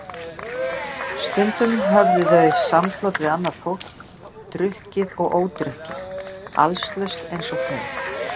Stundum höfðu þau samflot við annað fólk, drukkið og ódrukkið, allslaust eins og þau.